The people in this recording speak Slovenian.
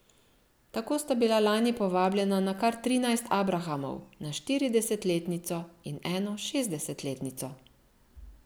Tako sta bila lani povabljena na kar trinajst abrahamov, na štiridesetletnico in eno šestdesetletnico.